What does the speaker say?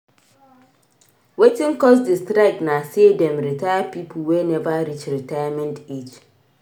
Wetin cause di strike na sey dem retire pipo wey neva reach retirement age.